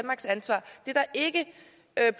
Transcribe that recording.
er